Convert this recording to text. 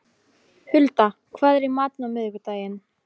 Hulda, hvað er í matinn á miðvikudaginn?